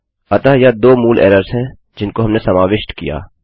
अतः यह दो मूल एरर्स हैं जिनको हमने समाविष्ट किया